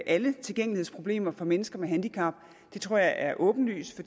alle tilgængelighedsproblemer for mennesker med handicap det tror jeg er åbenlyst